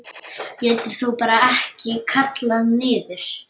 Geturðu ekki bara kallað niður?